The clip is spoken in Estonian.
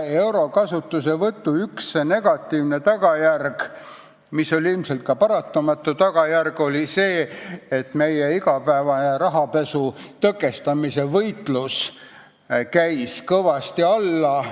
Euro kasutuselevõtu üks negatiivseid tagajärgi, mis oli ilmselt ka paratamatu, oli see, et meie igapäevane rahapesu tõkestamise võitlus käis kõvasti alla.